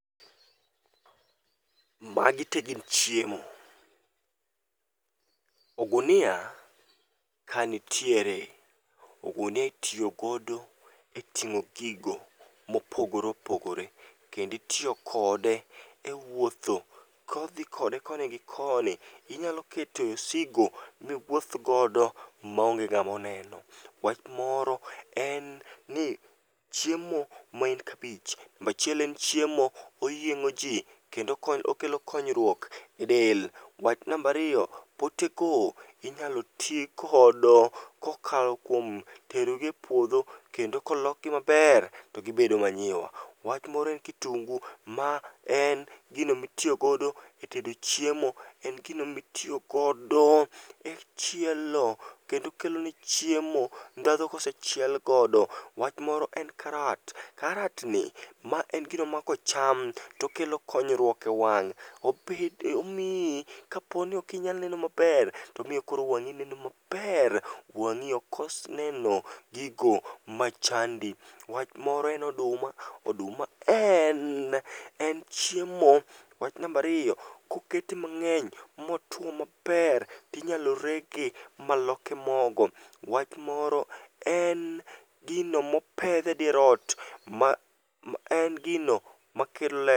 Magi te gin chiemo, ogunia kanitiere, ogunia itiyogodo e ting'o gigo mopogore opogore. Kenditiyo kode e wuotho kodhi kode koni gi koni. Inyalo kete osigo miwuoth godo maonge ng'amoneno. Wach moro en ni chiemo maen kabich,:nambachiel en chiemo oyieng'o ji kendo okelo konyruok e del. Wach nambariyo: pote go inyalo tigodo kokalo kuom terogi e puodho kendo kolokgi maber to gibedo manyiwa. Wach moro en kitungu ma en gino mitiyogodo e tedo chiemo. En gino mitiyogodo e chielo, kendo kelo ne chiemo ndhadho kosechiel godo. Wach moro en karat, karat ni ma en gino ma kocham tokelo konyruok e wang'. Obed, omiyi kaponi okinyal neno maber tomiyo koro wang'i neno maber. Wang'i ok kos neno gigo ma chandi. Wach moro en noduma, oduma en, en chiemo. Wach nambariyo, kokete mang'eny motwo maber, tinyalo rege maloke mogo. Wach moro: en gino mopedhe dier ot, ma en gino makelo le.